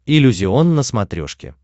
иллюзион на смотрешке